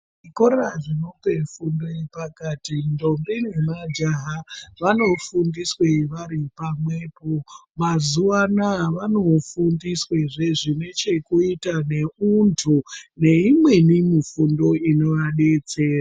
Zvikora zvinope fundo yepakati ndombi nemajaha vanofundiswe vari pamwepo, mazuwa anoaya vanofundiswezve zvinechekuita neuntu neimweni mifundo inovadetsera.